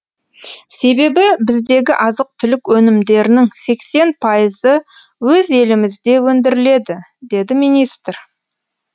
себебі біздегі азық түлік өнімдерінің сексен пайызы өз елімізде өндіріледі деді министр